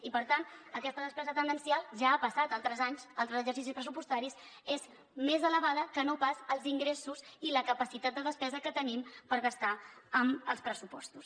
i per tant aquesta despesa tendencial ja ha passat altres anys en altres exercicis pressupostaris és més elevada que no pas els ingressos i la capacitat de despesa que tenim per gastar amb els pressupostos